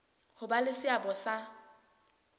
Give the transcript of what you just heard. ho ba le seabo sa